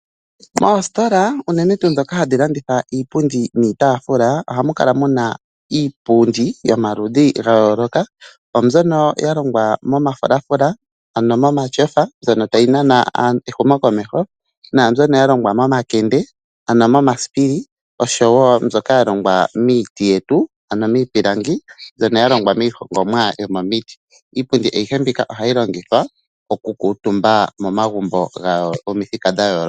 Moositola unene tuu ndhoka hadhi landitha iipundi niitaafula, ohamu kala mu na iipundi yomaludhi gayooloka, naambyono ya longwa momafulafula, ano momatyofa mbyono tayi nana ehumokomeho, naambyono ya longwa momakende, ano momasipili noshowo mbyoka ya longwa miiti yetu, ano miipilangi mbyono ya longwa miihongomwa yomomiti. Ano mbyono ohayi longithwa mokukuutumbwa momagumbo gomithika dha yooloka.